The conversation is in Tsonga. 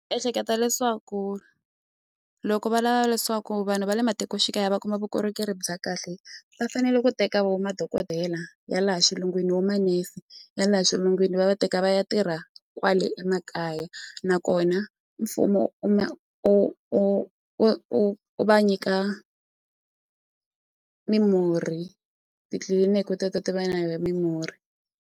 Ehleketa leswaku loko va lava leswaku vanhu va le matikoxikaya va kuma vukorhokeri bya kahle va fanele ku teka wo madokodela ya laha xilungwini wo manese ya laha xilungwini va teka va ya tirha kwale emakaya nakona mfumo u ma u u u u u va nyika mimurhi titliliniki teto ti va na mimurhi.